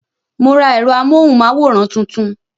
Mo ra èrò amóhùn máwòrán tuntun